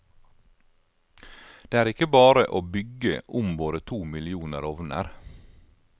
Det er ikke bare å bygge om våre to millioner ovner.